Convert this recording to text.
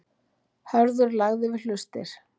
Hörður lagði við hlustir.